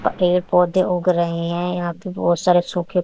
अ पेड़ पौधे उग रहे हैं यहां पे बहोत सारे सुखे--